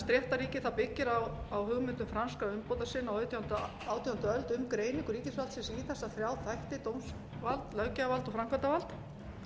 réttarríki byggir á hugmyndum franskra umbótasinna á sautjándu og átjándu öld um greiningu ríkisvaldsins í þessa þrjá þætti dómsvald löggjafarvald og framkvæmdarvald